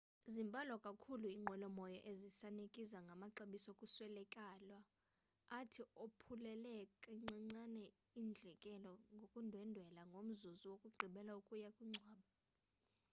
zimbalwa kakhulu inqwelomoya ezisanikeza ngamaxabiso okuswelekelwa athi ophulele kancinane indleko zokundwendwela ngomzuzu wokugqibela wokuya kungcwaba